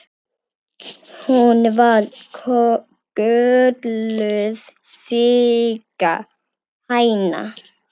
Hún var kölluð Sigga hæna.